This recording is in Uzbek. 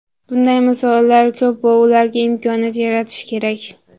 Bunday misollar ko‘p va ularga imkoniyat yaratish kerak.